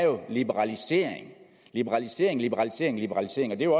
liberalisering liberalisering liberalisering liberalisering og det